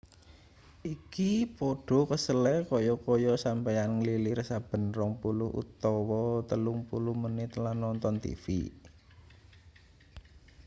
iki padha kesele kaya-kaya sampeyan nglilir saben rong puluh utawa telung puluh menit lan nonton tv